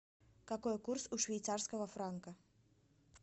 какой курс у швейцарского франка